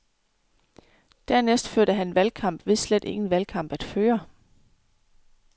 Dernæst førte han valgkamp ved slet ingen valgkamp at føre.